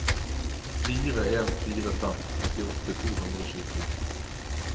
fire en fire fem trettiåtte to hundre og tjueto